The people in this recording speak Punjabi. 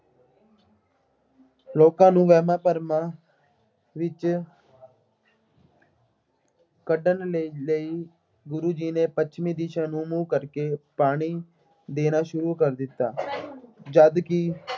ਲੋਕਾਂ ਨੂੰ ਵਹਿਮਾਂ ਭਰਮਾਂ ਵਿੱਚ ਕੱਢਣ ਲਈ ਲਈ ਗੁਰੂ ਜੀ ਨੇ ਪੱਛਮੀ ਦਿਸ਼ਾ ਨੂੰ ਮੂੰਹ ਕਰਕੇ ਪਾਣੀ ਦੇਣਾ ਸ਼ੁਰੂ ਕਰ ਦਿੱਤਾ। ਜਦਕਿ